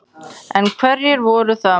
En hverjir voru það?